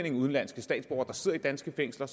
af udenlandske statsborgere der sidder i danske fængsler